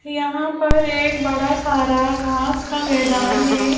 यहां पर एक बड़ा सारा घास का मैदान है।